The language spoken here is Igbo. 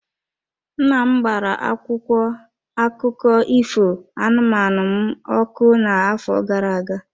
Nna m gbara akwụkwọ akụkọ ifo anụmanụ m ọkụ n'afọ gara aga.